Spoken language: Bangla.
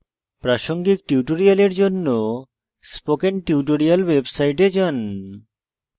প্রাসঙ্গিক tutorials জন্য spoken tutorials website যান